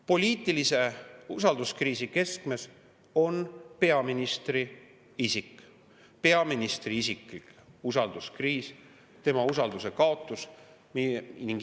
Poliitilise usalduskriisi keskmes on peaministri isik, peaministri isiklik usalduskriis, tema usalduse kaotus.